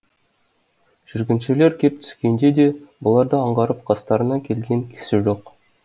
жүргіншілер кеп түскенде де бұларды аңғарып қастарына келген кісі жоқ